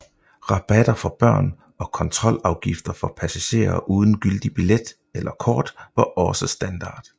Rabatter for børn og kontrolafgifter for passagerer uden gyldig billet eller kort var også standard